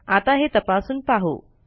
आता हे तपासून पाहू